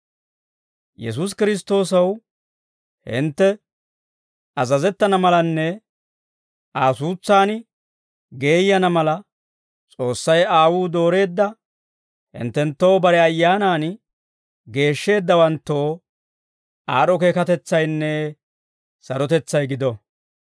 Yesuusi Kiristtoosaw hintte azazettana malanne Aa suutsan geeyyana mala, S'oossay Aawuu dooreedda hinttenttoo bare Ayyaanan geeshsheeddawanttoo, aad'd'o keekatetsaynne sarotetsay gido.